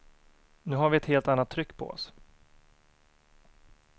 Nu har vi ett helt annat tryck på oss.